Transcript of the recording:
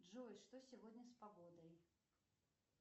джой что сегодня с погодой